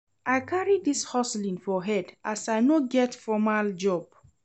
I carry dis hustling for head as I no get formal job.